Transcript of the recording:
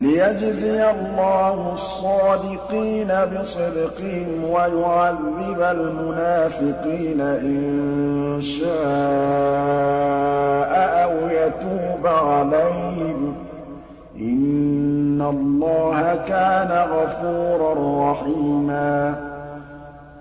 لِّيَجْزِيَ اللَّهُ الصَّادِقِينَ بِصِدْقِهِمْ وَيُعَذِّبَ الْمُنَافِقِينَ إِن شَاءَ أَوْ يَتُوبَ عَلَيْهِمْ ۚ إِنَّ اللَّهَ كَانَ غَفُورًا رَّحِيمًا